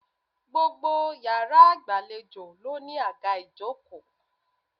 Gbogbo yàrá ìgbàlejò ló ní àga ìjókòó